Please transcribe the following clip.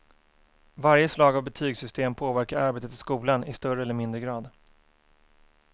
Varje slag av betygssystem påverkar arbetet i skolan i större eller mindre grad.